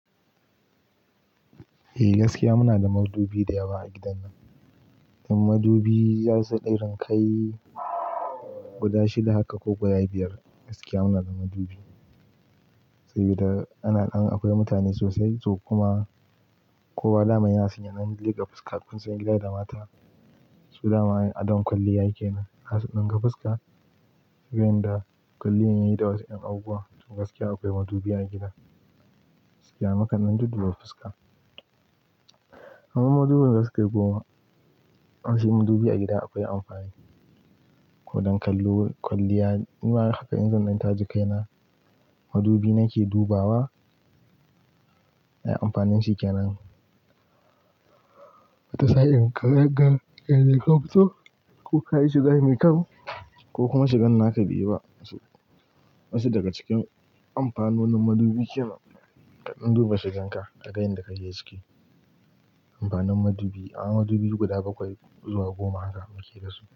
Eh, gaskiya muna da madubi da yawa a gidan nan. Madubi zasu irin kai guda shida haka ko guda biyar, gaskiya muna da madubi. Sabida ana ɗan akwai mutane sosai so kuma kowa daman yana san ya dan leka fuska. Kun san gida da mata so daman adon kwalliya ke nan, har su dinga fuska. Sai wanda kwalliyan yayi da wasu ƴan abubuwa. To gaskiya akwai madubi a gida. Gaskiya maka nan dudduba fuska. Amma madubin zasu kai goma. Aje madubi a gida akwai amfani. Ko don kallo kwalliya, nima haka in zan ɗan taje kai na, madubi nake dubawa. Ai amfanin shi kenan. Misalin ka danga yane ka fito ko ka yi shiga mai kyau ko kuma shi gan na ka beyi ba. Wasu daga cikin amfanonin madubi kenan, kaɗan duba shi ganka kaga yanda kake ciki amfanin madubi, a'a madubi guda bakwai zuwa goma haka muke da su.